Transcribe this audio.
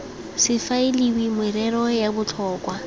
se faeliwe merero ya botlhokwa